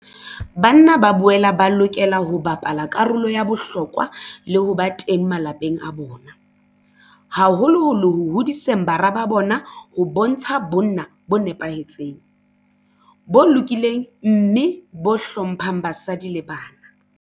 Banna ba boela ba lokela ho bapala karolo ya bohlokwa le ho ba teng malapeng a bona, haholoholo ho hodiseng bara ba bona ho bontsha bonna bo nepahetseng, bo lokileng mme bo hlo mphang basadi le bana.